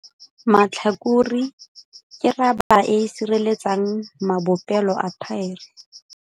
Matlhakore - ke rabara e e sireletsang mabopelo a thaere.